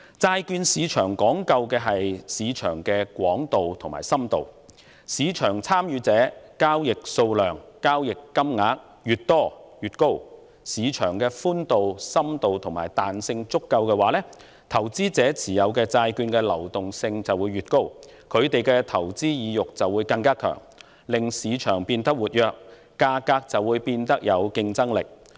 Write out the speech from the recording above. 債券市場講究的，是市場的寬度和深度，當市場參與者人數和交易數量越多、交易金額越大，而市場具足夠的寬度、深度和彈性，投資者持有債券的流動性便越高，他們的投資意欲亦更強，市場交投因而變得更為活躍，價格便更具競爭力。